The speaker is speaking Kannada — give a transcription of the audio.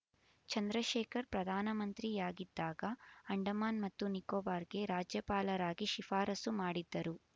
ಚಂದ್ರಶೇಖರ್ ಪ್ರಧಾನ ಮಂತ್ರಿಯಾಗಿದ್ದಾಗ ಅಂಡಮಾನ್ ಮತ್ತು ನಿಕೋಬಾರ್‌ಗೆ ರಾಜ್ಯಪಾಲರಾಗಿ ಶಿಫಾರಸ್ಸು ಮಾಡಿದ್ದರು